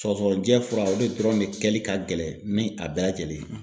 Sɔgɔsɔgɔnijɛ fura o de dɔrɔn de kɛli ka gɛlɛn ni a bɛɛ lajɛlen ye